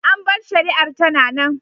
An bar shari’ar tana nan.